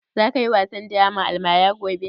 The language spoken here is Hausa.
Za ka yi wasan draman almara gobe?